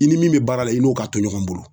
I ni min be baara la i n'o ka to ɲɔgɔn bolo